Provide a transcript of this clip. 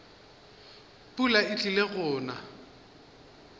pula e tlile go na